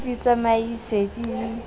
di di tsamaise di di